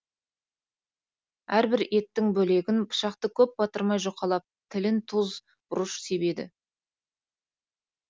әрбір еттің бөлегін пышақты көп батырмай жұқалап тілін тұз бұрыш себеді